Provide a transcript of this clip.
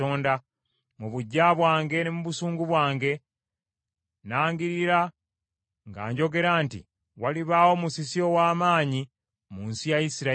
Mu buggya bwange ne mu busungu bwange nnangirira nga njogera nti walibaawo musisi ow’amaanyi mu nsi ya Isirayiri;